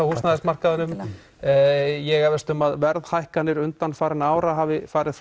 húsnæðismarkaðinum en ég efast um að verðhækkanir undanfarinna ára hafi farið